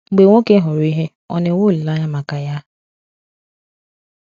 Mgbe nwoke hụrụ ihe, ọ̀ na-enwe olileanya maka ya?